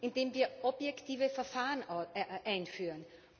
Indem wir objektive Verfahren einführen.